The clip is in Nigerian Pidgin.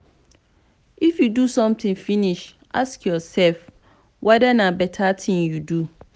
i f you do sometin finish ask yoursef weda na beta tin you do.